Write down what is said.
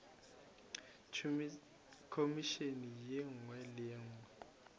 khomišene ye nngwe le ye